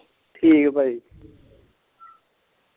ਠੀਕ ਏ ਭਾਜੀ।